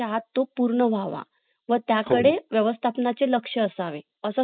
;अक्षरशः माझी मुलगी सांगते की papa तुम्ही एवढं office चं काम करतात का